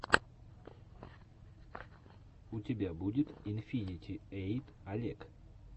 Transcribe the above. у тебя будет инфинити эйт олег